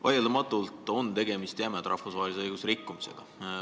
Vaieldamatult on tegemist rahvusvahelise õiguse jämeda rikkumisega.